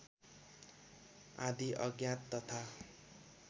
आदि अज्ञात तथा